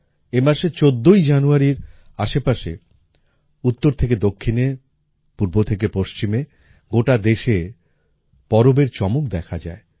এই মাসে চোদ্দ জানুয়ারির আশেপাশে উত্তর থেকে দক্ষিণে পূর্ব থেকে পশ্চিমে গোটা দেশে পরবের চমক দেখা যায়